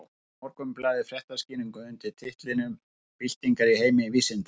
Þá birti Morgunblaðið fréttaskýringu undir titlinum Byltingar í heimi vísindanna.